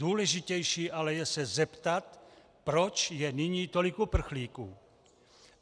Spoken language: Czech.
Důležitější ale je se zeptat, proč je nyní tolik uprchlíků.